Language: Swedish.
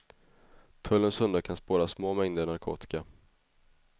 Tullens hundar kan spåra små mängder narkotika.